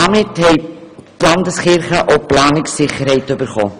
Damit haben die Landeskirchen auch Planungssicherheit erhalten.